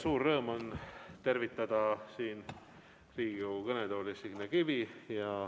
Suur rõõm on tervitada Riigikogu kõnetoolis Signe Kivi.